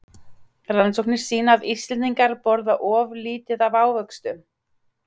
Rannsóknir sýna að Íslendingar borða of lítið af ávöxtum.